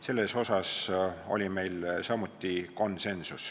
Selles asjas oli meil samuti konsensus.